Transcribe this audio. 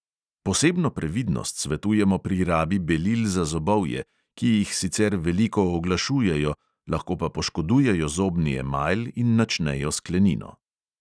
Posebno previdnost svetujemo pri rabi belil za zobovje, ki jih sicer veliko oglašujejo, lahko pa poškodujejo zobni emajl in načnejo sklenino.